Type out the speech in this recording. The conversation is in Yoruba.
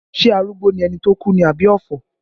Ṣé arúgbó ni ẹni tó kú ni àbí ọ̀fọ̀?